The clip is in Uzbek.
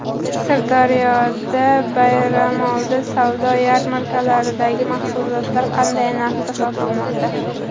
Sirdaryoda bayramoldi savdo yarmarkalaridagi mahsulotlar qanday narxda sotilmoqda?.